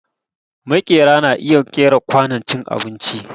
Maƙera na iya ƙera kwanon cin abinci